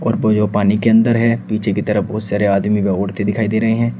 और वो यो पानी के अंदर है पीछे की तरफ बहुत सारे आदमी लोग उठते दिखाई दे रहे हैं।